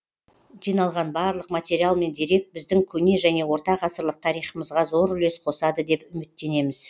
жиналған барлық материал мен дерек біздің көне және орта ғасырлық тарихымызға зор үлес қосады деп үміттенеміз